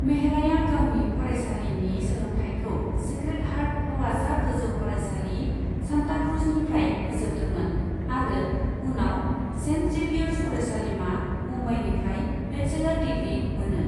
मेहराया गावनि फरायसालिनि सोलोंथायखौ सेक्रेड हार्ट हौवासा गोजौ फरायसालि, सान्ताक्रुजनिफ्राय फोजोबदोंमोन आरो उनाव सेन्ट जेबियार्ज फरायसालिमा, मुंबईनिफ्राय बेचेलर डिग्रि मोनो।